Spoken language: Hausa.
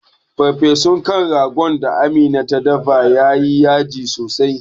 Farfesun kan ragon da amina ta dafa yayi yaji sosai